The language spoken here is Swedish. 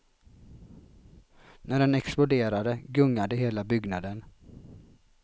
När den exploderade gungade hela byggnaden.